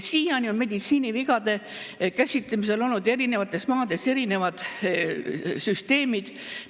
Siiani on meditsiinivigade käsitlemisel olnud eri maades erinevad süsteemid.